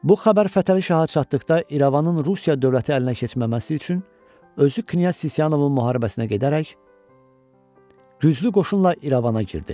Bu xəbər Fətəli Şaha çatdıqda İrəvanın Rusiya dövləti əlinə keçməməsi üçün özü knyaz Sisyanovun müharibəsinə gedərək güclü qoşunla İrəvana girdi.